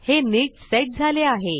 हे नीट सेट झाले आहे